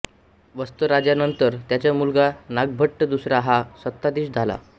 वत्सराजानंतर त्याचा मुलगा नागभट्ट दुसरा हा सत्ताधीश झाला